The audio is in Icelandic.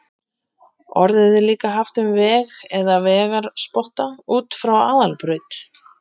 Orðið er líka haft um veg eða vegarspotta út frá aðalbraut.